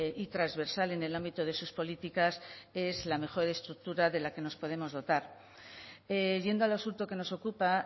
y transversal en el ámbito de sus políticas es la mejor estructura de la que nos podemos dotar yendo al asunto que nos ocupa